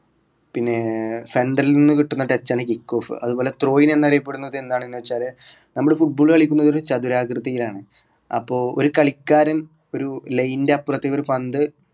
പിന്നെ central ന്ന് കിട്ടുന്ന touch ആണ് kickoff അതുപോലെ throwing എന്നറിയപെടുന്നതെന്താണെന്ന് വെച്ചാല് നമ്മൾ football കളിക്കുന്നത് ഒരു ചതുരാകൃതിയിലാണ് അപ്പൊ ഒരു കളിക്കാരൻ ഒരു line ൻ്റെ അപ്പുറത്തേക്ക് ഒരു പന്ത്